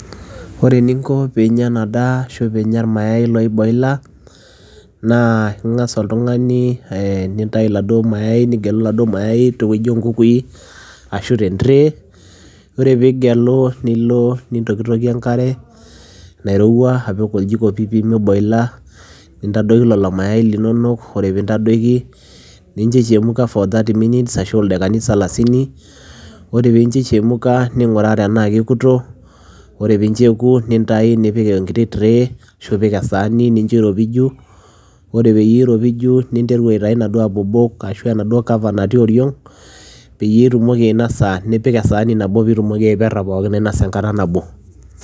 Ore eninko pee inya ena daa ashu pee inya irmayaai oiboila nintayu iladuo mayaai nigelu iladuo mayai tewuei oonkukui ashu tentray ore piigelu nilo aitokitokie enkare nairowua nipik oljiko piipi miboila nintadoiki lelo mayaai linonok ore pee intadoiki nincho ichemuka for thirty minutes ashu aa ildaikani salasini ore piincho ichemuka ning'uraa enaa kekuto ore piincho eoku nintayu nipik enkiti tray ashu ipik esaanii nincho iropiju ore peyie iropiju ninteru aitayu inaduo abobok enaduo cover natii oriong' peyie itumoki ainosa nipik esaani nabo piitumoki aiperra enkata nabo.